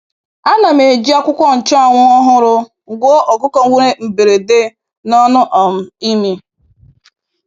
Ana m eji akwukwo nchuanwu ọhụrụ gwọọ ọkụkọ nwere mberede n’ọnụ um imi.